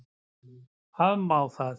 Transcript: Afmá það?